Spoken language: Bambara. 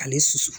Ale susu